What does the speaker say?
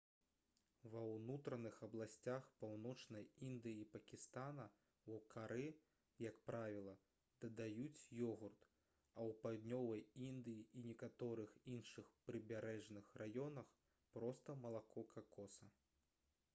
ва ўнутраных абласцях паўночнай індыі і пакістана ў кары як правіла дадаюць ёгурт а ў паўднёвай індыі і некаторых іншых прыбярэжных раёнах проста малако какоса